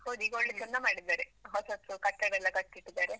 ಹೌದು ಈಗ ಒಳ್ಳೇ ಚಂದ ಮಾಡಿದ್ದಾರೆ, ಹೊಸತು ಕಟ್ಟಡ ಎಲ್ಲ ಕಟ್ಟಿ ಇಟ್ಟಿದ್ದಾರೆ.